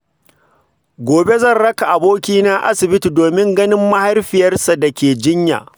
Gobe zan raka abokina asibiti domin ganin mahaifiyarsa da ke jinya.